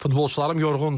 Futbolçularım yorğundurlar.